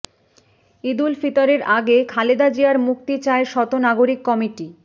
ঈদুল ফিতরের আগে খালেদা জিয়ার মুক্তি চায় শত নাগরিক কমিটি